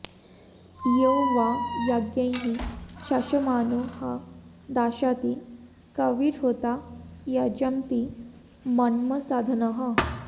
यो वां॑ य॒ज्ञैः श॑शमा॒नो ह॒ दाश॑ति क॒विर्होता॒ यज॑ति मन्म॒साध॑नः